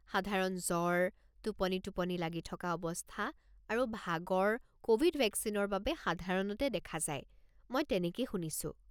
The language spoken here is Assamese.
সাধাৰণ জ্বৰ, টোপনি টোপনি লাগি থকা অৱস্থা আৰু ভাগৰ ক'ভিড ভেকচিনৰ বাবে সাধাৰণতে দেখা যায়, মই তেনেকেই শুনিছোঁ।